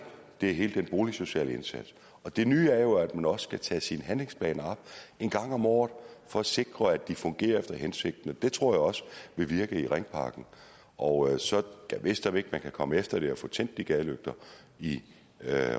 det er hele den boligsociale indsats det nye er jo at man også skal tage sine handlingsplaner op en gang om året for at sikre at de fungerer efter hensigten og det tror jeg også vil virke i ringparken og gad vidst om ikke man kan komme efter det og få tændt de gadelygter i